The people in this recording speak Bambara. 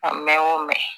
A mɛn o mɛn